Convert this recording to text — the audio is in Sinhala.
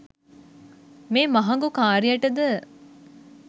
මේ මහඟු කාර්යයට ද